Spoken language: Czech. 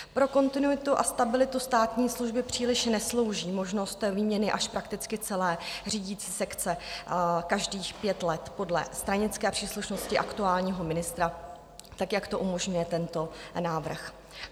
Pro kontinuitu a stabilitu státní služby příliš neslouží možnost výměny až prakticky celé řídící sekce každých pět let podle stranické příslušnosti aktuálního ministra, tak jak to umožňuje tento návrh.